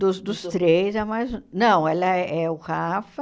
Dos dos três, a mais... Não, ela é o Rafa,